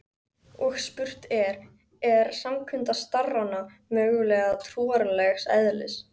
Og spurt er: er samkunda starrana mögulega trúarlegs eðlis?